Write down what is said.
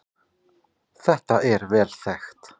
Þetta er vel þekkt